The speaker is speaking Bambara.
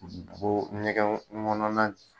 U bi bo nɛgɛn kɔnɔna de